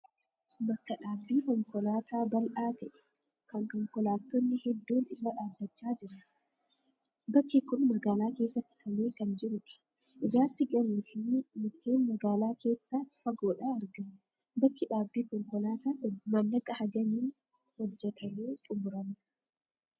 Bakka dhaabbii konkolaataa bal'aa ta'e, kan konkolaattonni hedduun irra dhaabachaa jiran. Bakki kun magaalaa keessatti tolee kan jirudha. Ijaarsi gamoo fi mukeen magaala keessaas fagoodhaa argamu. Bakki dhaabbii konkolaataa kun maallaqa hangamiin hojjetamee xumurama?